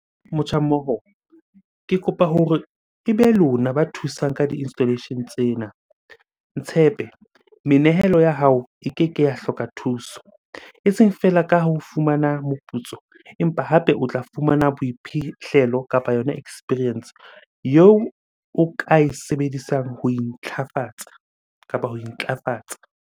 Motjha mmoho, ke kopa hore ebe lona ba thusang ka di-installation tsena. Ntshepe, menehelo ya hao e keke ya hloka thuso. Eseng feela ka ho fumana moputso, empa hape o tla fumana boiphihlelo kapa yona experience eo o ka e sebedisang ho intlhafatsa kapa ho intlafatsa